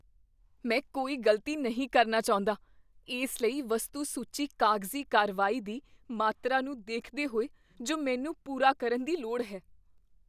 ਮੈਂ ਕੋਈ ਗ਼ਲਤੀ ਨਹੀਂ ਕਰਨਾ ਚਾਹੁੰਦਾ, ਇਸ ਲਈ ਵਸਤੂ ਸੂਚੀ ਕਾਗਜ਼ੀ ਕਾਰਵਾਈ ਦੀ ਮਾਤਰਾ ਨੂੰ ਦੇਖਦੇ ਹੋਏ ਜੋ ਮੈਨੂੰ ਪੂਰਾ ਕਰਨ ਦੀ ਲੋੜ ਹੈ